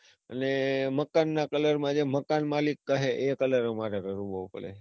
અને મકાન ના colour માં મકાન મલિક કહે એ colour અમારે કરવો પડે,